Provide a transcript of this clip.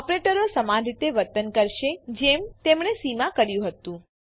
ઓપરેટરો સમાન રીતે વર્તન કરશે જેમ તેમણે સી માં કર્યું હતું